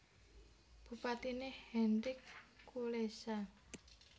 Bupatiné Henryk Kulesza